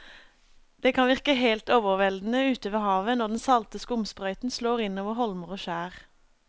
Det kan virke helt overveldende ute ved havet når den salte skumsprøyten slår innover holmer og skjær.